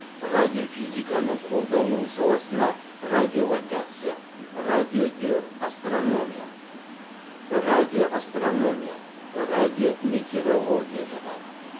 радиофизиканың қолданылу саласына радиолокация радиодиоастрономия радиоастрономия радиометеорология жатады